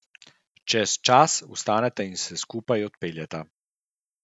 Čez čas vstaneta in se skupaj odpeljeta.